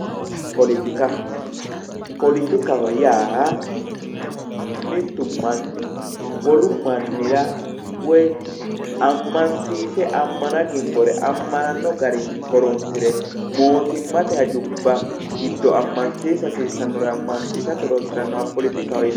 Poletika poletikaho yaa mittu manni wolu mannira woyi ammansiise ammana gimbore ammananno garinni horonsite mootimmate hajubba giddo ammansiisa hasiissannore hironsire poletikaho yinanni